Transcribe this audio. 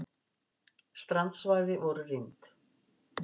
Strandsvæði voru rýmd